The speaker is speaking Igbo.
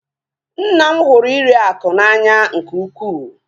Nna m hụrụ iri akụ n'anya nke ukwuu